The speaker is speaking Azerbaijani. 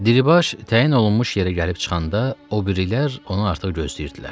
Diribaş təyin olunmuş yerə gəlib çıxanda, o birilər onu artıq gözləyirdilər.